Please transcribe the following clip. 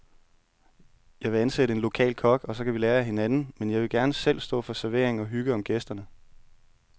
Jeg vil ansætte en lokal kok, og så kan vi lære af hinanden, men jeg vil gerne selv stå for servering og hygge om gæsterne.